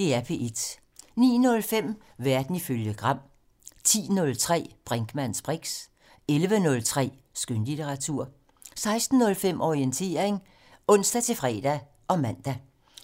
09:05: Verden ifølge Gram 10:03: Brinkmanns briks 11:03: Skønlitteratur 16:05: Orientering (ons-fre og man)